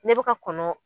Ne bɛ ka kɔnɔ